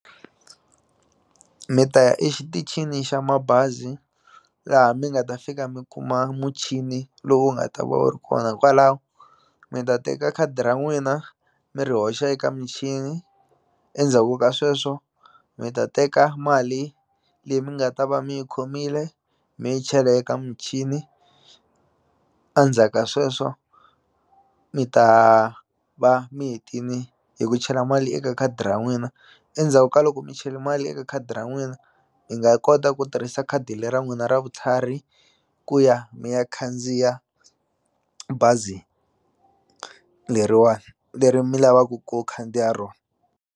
Mi ta ya exitichini xa mabazi laha mi nga ta fika mi kuma muchini lowu nga ta va wu ri kona hikwalaho mi ta teka khadi ra n'wina mi ri hoxa eka michini endzhaku ka sweswo mi ta teka mali leyi mi nga ta va mi yi khomile mi yi chele eka muchini a ndzhaka sweswo mi ta va mi hetini hi ku chela mali eka khadi ra n'wina endzhaku ka loko mi chele mali eka khadi ra n'wina hi nga kota ku tirhisa khadi le ra n'wina ra vutlhari ku ya mi ya khandziya bazi leriwani leri mi lavaku ku khandziya rona.